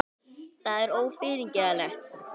Það er ófyrirgefanlegt